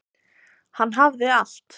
Hann hafði allt.